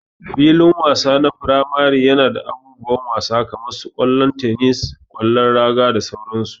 Filin wasa na firamare yana da abubuwan wasa kaman su kwallo, tenis, kwallon raga da sauran su.